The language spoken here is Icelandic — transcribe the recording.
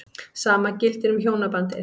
Sama gildir um hjónabandið.